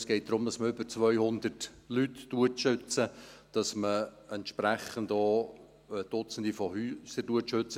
Es geht darum, dass man über 200 Leute schützt, und dass man entsprechend auch Dutzende Häuser schützt.